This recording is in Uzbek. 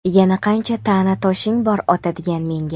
Yana qancha ta’na toshing bor otadigan menga ?.